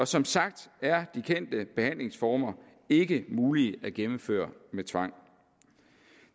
som sagt er de kendte behandlingsformer ikke mulige at gennemføre ved tvang